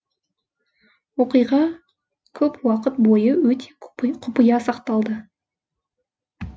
оқиға көп уақыт бойы өте құпия сақталды